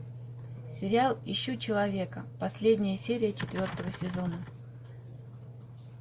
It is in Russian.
сериал ищу человека последняя серия четвертого сезона